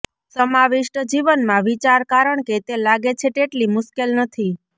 સમાવિષ્ટ જીવનમાં વિચાર કારણ કે તે લાગે છે તેટલી મુશ્કેલ નથી